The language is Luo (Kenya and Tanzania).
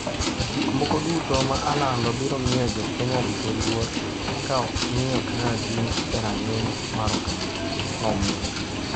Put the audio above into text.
"Gik moko duto ma alando biro miyo jo Kenya duto luor ka ok ing'iyo kaka gin e rang'iny mar oganda", nomedo.